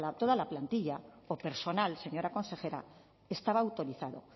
toda la plantilla o personal señora consejera estaba autorizado